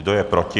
Kdo je proti?